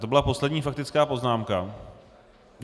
To byla poslední faktická poznámka.